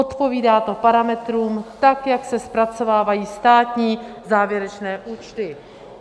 Odpovídá to parametrům tak, jak se zpracovávají státní závěrečné účty.